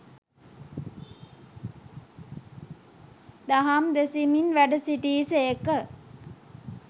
දහම් දෙසමින් වැඩ සිටි සේක.